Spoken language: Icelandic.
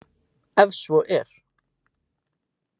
Ef svo er.